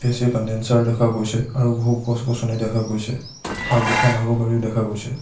AC condenser দেখা গৈছে আৰু বহু গছ-গছনি দেখা গৈছে আৰু দুখন আৰু গাড়ীও দেখা গৈছে।